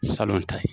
Salon ta ye